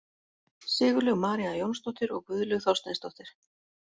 Sigurlaug María Jónsdóttir og Guðlaug Þorsteinsdóttir.